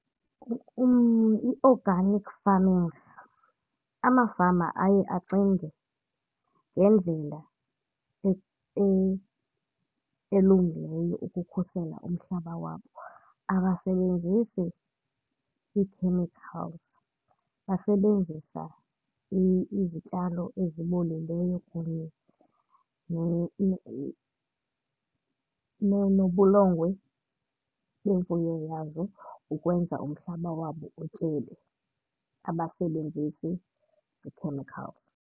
I-organic farming, amafama aye acinge ngendlela elungileyo ukukhusela umhlaba wabo. Akasebenzisi ii-chemicals, basebenzisa izityalo ezibolileyo kunye nobulongwe beemfuyo yabo ukwenza umhlaba wabo utyebe. Abasebenzisi zi-chemicals.